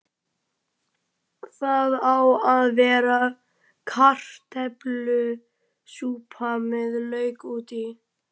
Það á að vera kartöflusúpa með lauk út í.